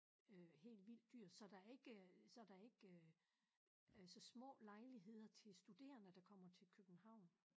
Øh helt vildt dyrt så der ikke øh så der ikke øh så små lejligheder til studerende der kommer til København